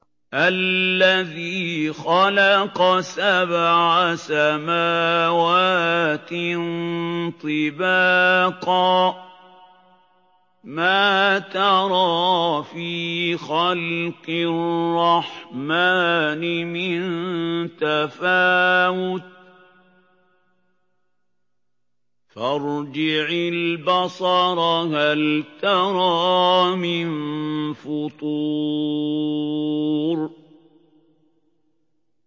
الَّذِي خَلَقَ سَبْعَ سَمَاوَاتٍ طِبَاقًا ۖ مَّا تَرَىٰ فِي خَلْقِ الرَّحْمَٰنِ مِن تَفَاوُتٍ ۖ فَارْجِعِ الْبَصَرَ هَلْ تَرَىٰ مِن فُطُورٍ